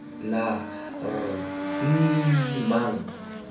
la r e e nnang